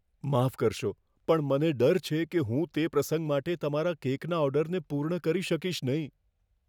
માફ કરશો, પણ મને ડર છે કે હું તે પ્રસંગ માટે તમારા કેકના ઓર્ડરને પૂર્ણ કરી શકીશ નહીં.